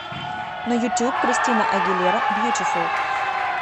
на ютуб кристина агилера бьютифул